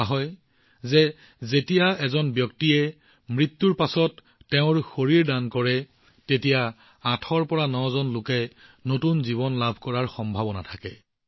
কোৱা হয় যে যেতিয়া এজন ব্যক্তিয়ে মৃত্যুৰ পিছত নিজৰ শৰীৰ দান কৰে ই আঠৰ পৰা নজন লোকৰ বাবে নতুন জীৱন লাভ কৰাৰ সম্ভাৱনা সৃষ্টি কৰে